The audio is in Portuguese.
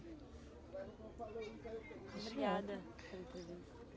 Obrigada